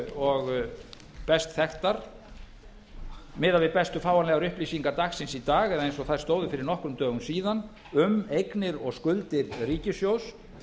og best þekktar miðað við bestu fáanlegar upplýsingar dagsins í dag eða eins og þær stóðu fyrir nokkrum dögum síðan um eignir og skuldir ríkissjóðs